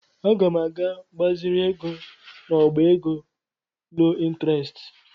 Aga m aga gbaziri ego n'ọbá ego loo ịntrest.